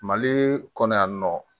Mali kɔnɔ yan nɔ